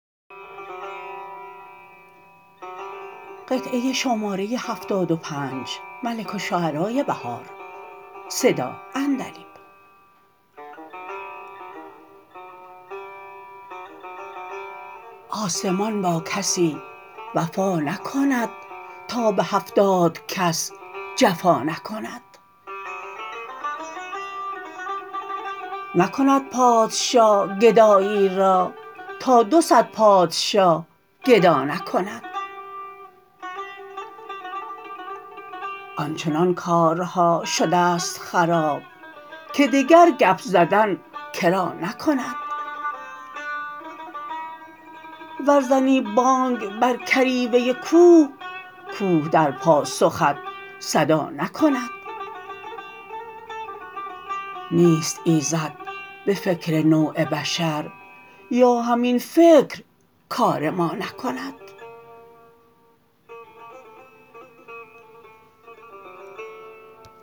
آسمان با کسی وفا نکند تا به هفتادکس جفا نکند نکند پادشا گدایی را تا دوصد پادشا گدا نکند آنچنان کارها شدست خراب که دگرگپ زدن کرا نکند ور زنی بانگ بر کریوه کوه کوه در پاسخت صدا نکند نیست ایزدبه فکرنوع بشر یا همین فکرکارما نکند